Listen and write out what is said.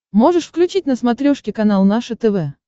можешь включить на смотрешке канал наше тв